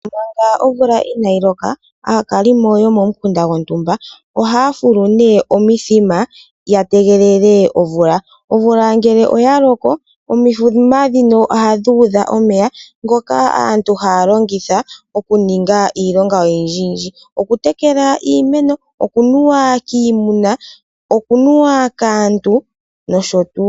Manga omvula inaayi loka, aakalimo yomomukunda gontumba ohaya fulu nee omithima ya tegelele omvula. Omvula ngele oya loko, omithima ndhino ohadhi udha omeya ngoka aantu haya longitha okuninga iilonga oyindji yindji. Okutekela iimeno, okunuwa kiimuna nokaantu.